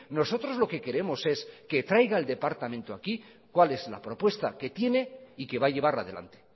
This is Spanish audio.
nosotros lo que queremos es que traiga el departamento aquí cuál es la propuesta que tiene y que va a llevar adelante